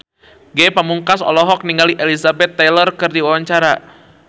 Ge Pamungkas olohok ningali Elizabeth Taylor keur diwawancara